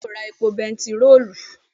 beeni yio ra epo bentiroolu.